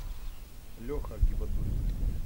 леха гибадуллин